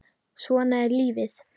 Svona er lífið!